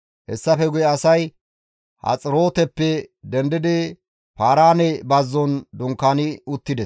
Hessafe guye asay Haxirooteppe dendidi Paaraane bazzon dunkaani uttides.